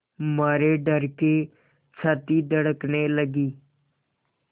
मारे डर के छाती धड़कने लगी